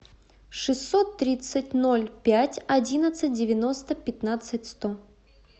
шестьсот тридцать ноль пять одиннадцать девяносто пятнадцать сто